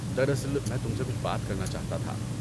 دراصل، میں تم سے کچھ بات کرنا چاہتا تھا۔